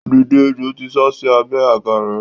Dìde! Ejò ti sásí abẹ́ àga rẹ.